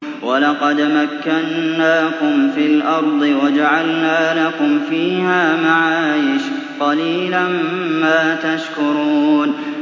وَلَقَدْ مَكَّنَّاكُمْ فِي الْأَرْضِ وَجَعَلْنَا لَكُمْ فِيهَا مَعَايِشَ ۗ قَلِيلًا مَّا تَشْكُرُونَ